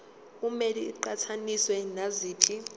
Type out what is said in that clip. kumele iqhathaniswe naziphi